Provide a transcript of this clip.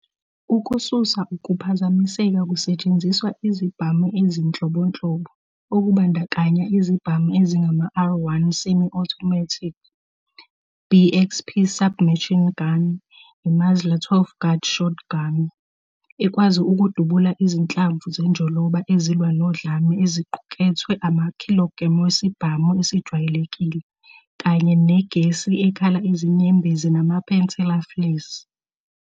Ukususa ukuphazamiseka kusetshenziswa izibhamu ezinhlobonhlobo, okubandakanya izibhamu ezingama- R1 semi-automatic, BXP sub-machine gun, Musler 12 gauge shotgun, ekwazi ukudubula izinhlamvu zenjoloba ezilwa nodlame eziqukethwe kumakhilogremu wesibhamu esijwayelekile, kanye negesi ekhala izinyembezi nama-pensela flares.